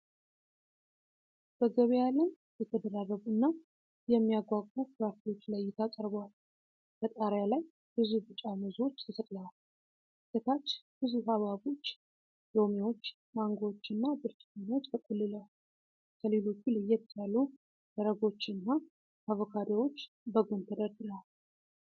በገበያ ላይ የተደራረቡና የሚያጓጉ ፍራፍሬዎች ለእይታ ቀርበዋል። ከጣሪያ ላይ ብዙ ቢጫ ሙዞች ተሰቅለዋል። ከታች ብዙ ሐብሐቦች፣ ሎሚዎች፣ ማንጎዎችና ብርቱካኖች ተቆልለዋል። ከሌሎቹ ለየት ያሉ ደረጎች እና አቮካዶዎች በጎን ተደርድረዋል።